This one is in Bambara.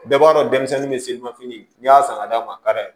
Bɛɛ b'a dɔn denmisɛnnin ni selimafini n'i y'a san ka d'a ma ka d'a ye